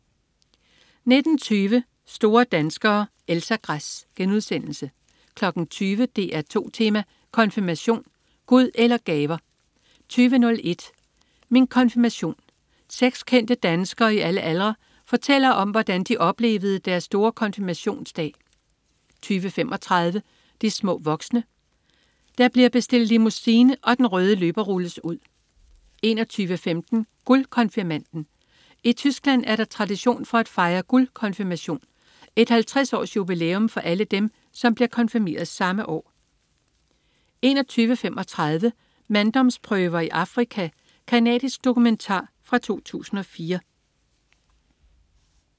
19.20 Store danskere. Elsa Gress* 20.00 DR2 Tema: Konfirmation. Gud eller gaver? 20.01 Min konfirmation. Seks kendte danskere i alle aldre fortæller om, hvordan de oplevede deres store konfirmationsdag 20.35 De små voksne. Der bliver bestilt limousine, og den røde løber rulles ud 21.15 Guldkonfirmanden. I Tyskland er der tradition for at fejre guldkonfirmation, et 50-års-jubilæum for alle dem, som blev konfirmeret samme år 21.35 Manddomsprøver i Afrika. Canadisk dokumentar fra 2004